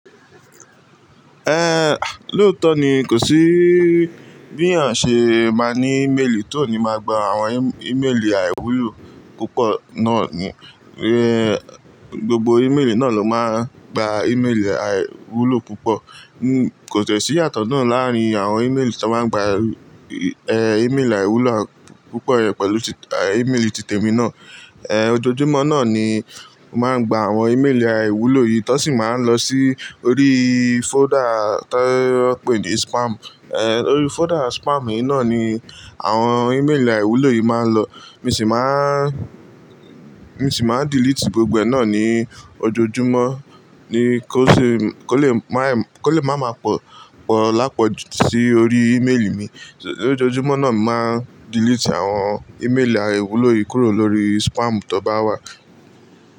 Ehn, ah lóòótọ́ ni kò sí bí èèyàn ṣe máa ní ímélì tí ò ní máa gba àwọn ímélì àìwúlò púpọ̀ náà ni. Gbogbo ímélì náà ló máa ń gba ímélì àìwúlò púpọ̀. Kò sì ìyàtọ̀ náà láàárín àwọn ímélì tí wọ́n máa ń gba, ímélì àìwúlò púpọ̀ yẹn pẹ̀lú ímélì titẹ̀mí náà. Ẹ̀ ọjọ̀ojúmọ́ náà ni mo màá ń gba àwọn ímélì àìwúlò yìí t wọ́n sì máa ń lọ sí orí fóldà tí wọ́n pé ní spam. Orí fóldà spam yìí náà ni àwọn ímélì àìwúlò yìí máa ń lọ. Mo ṣì máa, mo ṣì máa delete gbogbo ẹ̀ náà ní ojoojúmọ́, ni kó lè má máa pọ̀ l'ápọ̀jù sí orí ímélì mi. Lójojúmọ́ náà mo máa ń delete àwọn ímélì àìwúlò yìí kúrò lórí spam tó bá wà.